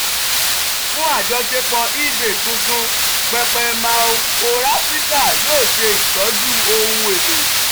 fun ajọṣepọ ebay tuntun pẹpẹ mallforafrica yoo ṣe itọju ohun elo.